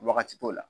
Wagati t'o la